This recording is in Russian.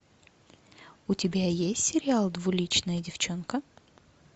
у тебя есть сериал двуличная девчонка